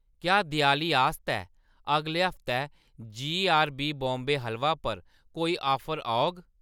क्या देआली आस्तै अगले हफ्तै जीआरबी बॉम्बे हलवा पर कोई ऑफर औग ?